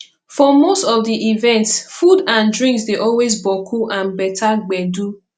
for most of di events food and drinks dey always boku and beter gbedu